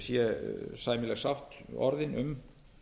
sé sæmileg sátt orðin um